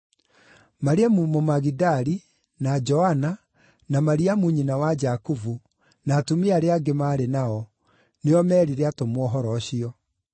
Mariamu Mũmagidali, na Joana, na Mariamu nyina wa Jakubu, na atumia arĩa angĩ maarĩ nao, nĩo meerire atũmwo ũhoro ũcio.